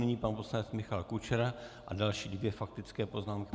Nyní pan poslanec Michal Kučera a další dvě faktické poznámky.